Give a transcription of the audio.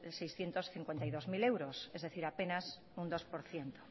seiscientos cincuenta y dos mil euros es decir apenas un dos por ciento